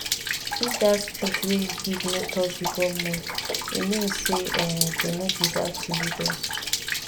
if dat speech wey you give no touch the government e mean say um dey no deserve to lead us